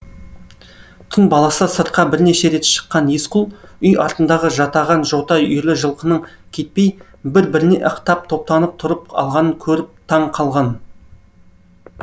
түн баласы сыртқа бірнеше рет шыққан есқұл үй артындағы жатаған жота үйірлі жылқының кетпей бір біріне ықтап топтанып тұрып алғанын көріп таң қалған